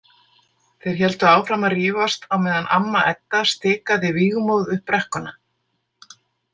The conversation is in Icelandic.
Þeir héldu áfram að rífast á meðan amma Edda stikaði vígmóð upp brekkuna.